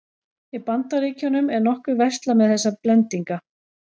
Í Bandaríkjunum er nokkuð verslað með þessa blendinga.